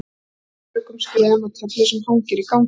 Þar gengur hún öruggum skrefum að töflu sem hangir í ganginum.